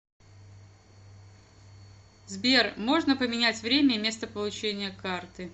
сбер можно поменять время и место получения карты